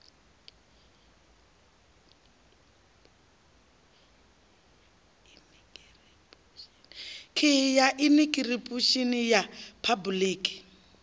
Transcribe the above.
khiyi ya inikiripushini ya phabuliki